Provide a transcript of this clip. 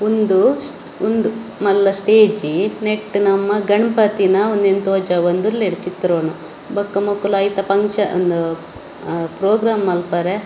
‌ಉಂದು ಉಂದು ಮಲ್ಲ ಸ್ಟೇಜಿ ನೆಟ್ಟ್‌ ನಮ್ಮ ಗಣ್‌ಪತಿನ ಉಂದೆನ್ ತೊಜಂದುಲ್ಲೆರ್ ಚಿತ್ರನೊ ಬೊಕ್ಕ ಮುಕ್ಕುಲು ಐತ ಫಂಕ್ಷನ್‌ ಉಂದು ಅಹ್ ಪ್ರೊಗ್ರಾಮ್‌ ಮಲ್ಪರೆ --